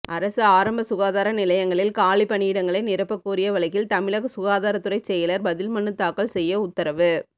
அரசு ஆரம்ப சுகாதார நிலையங்களில் காலிப்பணியிடங்களை நிரப்பக் கோரிய வழக்கில் தமிழக சுகாதாரத்துறை செயலா் பதில்மனு தாக்கல் செய்ய உத்தரவு